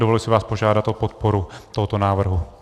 Dovoluji si vás požádat o podporu tohoto návrhu.